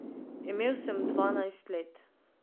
Imel sem dvanajst let.